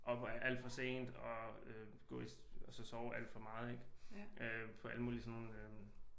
Oppe alt for sent og øh gå i og så sove alt for meget ik på alle mulige sådan øh